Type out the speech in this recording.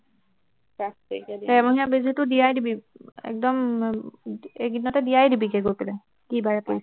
ডেৰমহীয়া বেজীটো দিয়াই দিবি একদম এই কেইদিনতে দিয়াই দিবিগে গৈ পেলাই কি বাৰে পৰিছে